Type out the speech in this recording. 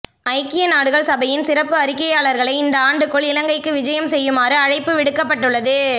ஐக்கிய நாடுகள் சபையின் சிறப்பு அறிக்கையாளர்களை இந்த ஆண்டுக்குள் இலங்கைக்கு விஜயம் செய்யுமாறு அழைப்பு விடுக்கப்பட்டுள்ளது